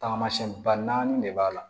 Tagamasɛn ba naani de b'a la